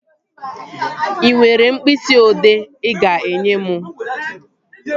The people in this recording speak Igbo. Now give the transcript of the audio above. Ị nwere mkpịsị ị odee ị ga-enye m?